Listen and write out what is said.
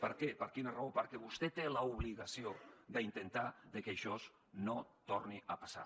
per què per quina raó perquè vostè té l’obligació d’intentar que això no torni a passar